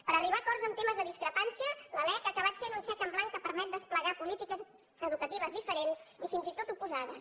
per arribar a acords en temes de discrepància la lec ha acabat sent un xec en blanc que permet desplegar polítiques educatives diferents i fins i tot oposades